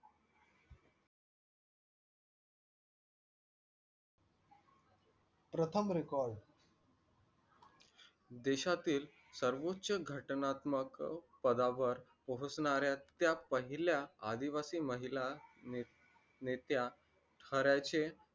देशातील सर्वोच्च घटनात्मक पदावर पोहोचणाऱ्या त्या पहिल्या आदिवासी महिला नेत्या